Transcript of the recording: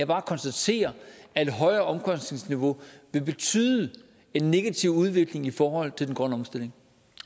bare konstatere at et højere omkostningsniveau vil betyde en negativ udvikling i forhold til den grønne omstilling